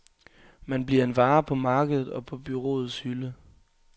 Man bliver en vare på markedet, og på bureauets hylde.